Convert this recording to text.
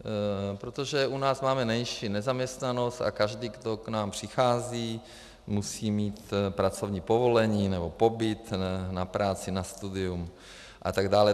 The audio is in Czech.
Protože u nás máme menší nezaměstnanost a každý, kdo k nám přichází, musí mít pracovní povolení nebo pobyt, na práci, na studium a tak dále.